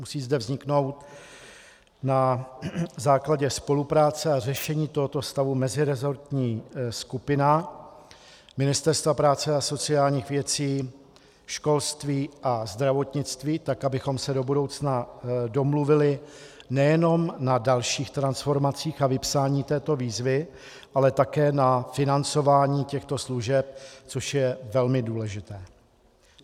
Musí zde vzniknout na základě spolupráce a řešení tohoto stavu meziresortní skupina ministerstev práce a sociálních věcí, školství a zdravotnictví tak, abychom se do budoucna domluvili nejenom na dalších transformacích a vypsání této výzvy, ale také na financování těchto služeb, což je velmi důležité.